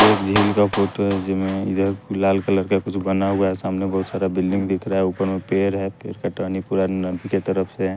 एक झील का फोटो है जिमें इधर लाल कलर का कुछ बना हुआ है सामने बहुत सारा बिल्डिंग दिख रहा है ऊपर में पेर है पेर का टहनी पूरा नबी के तरफ से --